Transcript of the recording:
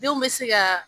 Denw bɛ se ka